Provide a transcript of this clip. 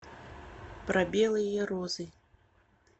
про белые розы